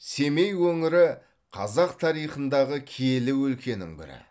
семей өңірі қазақ тарихындағы киелі өлкенің бірі